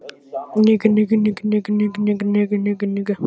Daginn sem mér barst bréf Kristjáns birti Dagblaðið heilsíðugrein eftir